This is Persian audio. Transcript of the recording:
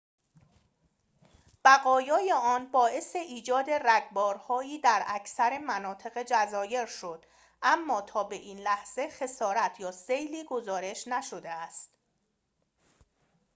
بقایای آن باعث ایجاد رگبارهایی در اکثر مناطق جزایر شد اما تا به این لحظه خسارت یا سیلی گزارش نشده است